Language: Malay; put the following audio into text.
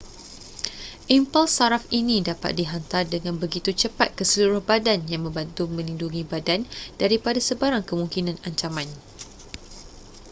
impuls saraf ini dapat dihantar dengan begitu cepat ke seluruh badan yang membantu melindungi badan daripada sebarang kemungkinan ancaman